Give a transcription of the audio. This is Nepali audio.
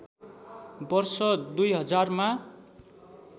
वर्ष २००० मा